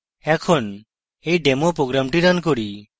এখন এই demo program run করি